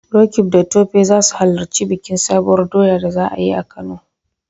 Roqeeb da Tope za su halarci bikin Sabuwar doyar da za a yi a Kano.